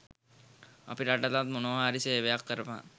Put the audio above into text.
අපේ රටටත් මොනවා හරි සේවයක් කරපන්.